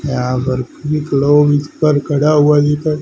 यहां पर खड़ा हुआ दिखा--